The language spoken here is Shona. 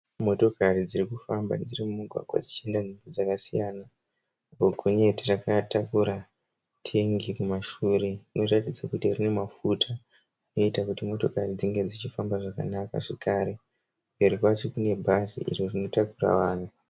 Motokari dzirikufamba dzirimumugwagwa dzienda nzvimbo dzakasiyana. Gonyeti ratakura tengi mumashure richiratidza kuti rine mafuta anoita kuti mota dzinge dzichifamba zvakanaka zvekare. Mberi kwacho kunebhazi rinotakura vanhu.